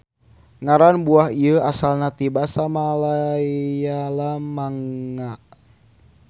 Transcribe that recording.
Ngaran buah ieu asalna ti basa Malayalam manga.